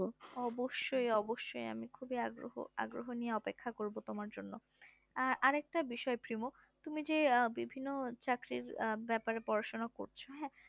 অবশ্যই অবশ্যই আমি খুবই আগ্রহ আগ্রহ নিয়ে অপেক্ষা করবো তোমার জন্য আর আর একটা বিষয় প্রিমো তুমি যে আহ বিভিন্ন চাকরির বিষয় এ পড়াশোনা করেছো